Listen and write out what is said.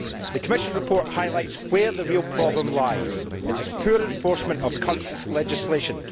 The Commission report highlights where the real problem lies it is in the poor enforcement of current legislation.